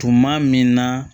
Tuma min na